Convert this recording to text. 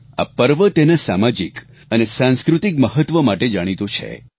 આ પર્વ તેના સામાજિક અને સાંસ્કૃતિક મહત્વ માટે જાણીતો છે